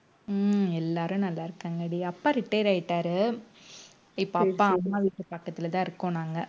உம் எல்லாரும் நல்லா இருக்காங்கடி அப்பா retire ஆயிட்டாரு இப்ப அப்பா அம்மா வீட்டு பக்கத்துலதான் இருக்கோம் நாங்க